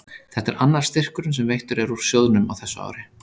Þetta er annar styrkurinn sem veittur er úr sjóðnum á þessu ári.